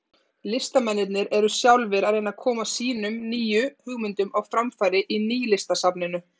Listamennirnir eru sjálfir að reyna að koma sínum nýju hugmyndum á framfæri í Nýlistasafninu.